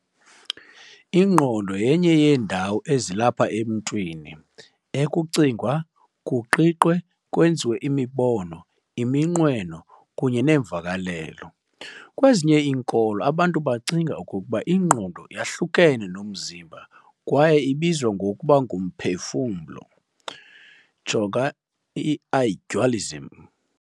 Ingqondo yenye yeendawo ezilapha emntwini ekucingwa, kuqiqwe, kwenziwe imibono, iminqweno, kunyeneemvakalelo. Kwezinye iinkolo abantu bacinga okokuba ingqondo yahlukene nomzimba kwaye ibizwa ngokuba ngumphefumlo jonga idualism.